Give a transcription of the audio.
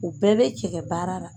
O bɛɛ bɛ cɛkɛ baara ra.